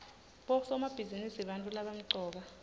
bosomabhizinisi bantfu labamcoka